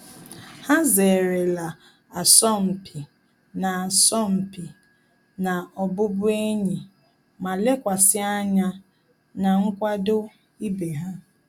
Há zéré la asọmpi na asọmpi na ọ́bụ́bụ́ényì ma lékwàsị̀ ányá na nkwado ibe ha.